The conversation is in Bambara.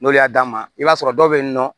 N'olu y'a d'a ma i b'a sɔrɔ dɔw bɛ yen nɔ